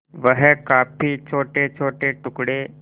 वह काफी छोटेछोटे टुकड़े